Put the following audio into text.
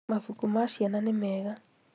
Mabuku ma ciana nĩ mega